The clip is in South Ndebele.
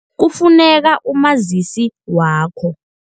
Kufuneka umazisi wakho.